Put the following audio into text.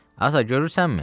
Ata, görürsənmi?